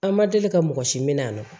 An ma deli ka mɔgɔ si minɛ a nɔ na